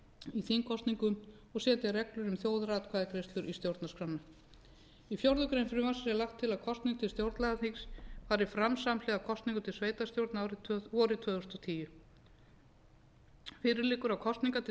í þingkosningum og setja reglur um þjóðaratkvæðagreiðslur í stjórnarskrána í fjórða grein frumvarpsins er lagt til að kosning til stjórnlagaþings skuli fara fram samhliða kosningum til sveitarstjórna vorið tvö þúsund og tíu fyrir liggur að kosningar til